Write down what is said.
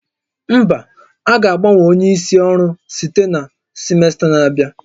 Mba, a ga-agbanwe onye isi ọrụ site na simesta na-abịa